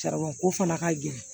Sariya ko fana ka gɛlɛn